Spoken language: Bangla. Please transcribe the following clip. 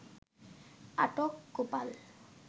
আটক গোপাল